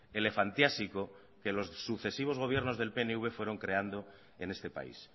elefantiásico que los sucesivos gobiernos del pnv fueron creando en este país